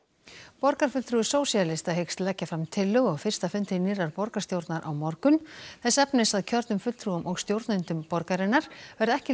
borgarfulltrúi sósíalista hyggst leggja fram tillögu á fyrsta fundi nýrrar borgarstjórnar á morgun þess efnis að kjörnum fulltrúum og stjórnendum borgarinnar verði ekki